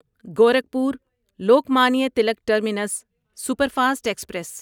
Gorakhpur Lokmanya Tilak terminus superfast express